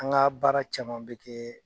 An ka baara caman bɛ kɛ